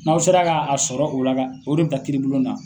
N'aw sera k'a sɔrɔ o la ka o de bɛ taa kiiribulon na.